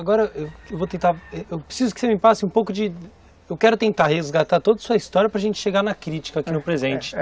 Agora, eu vou tentar, eu preciso que você me passe um pouco de... Eu quero tentar resgatar toda a sua história para gente chegar na crítica aqui no presente.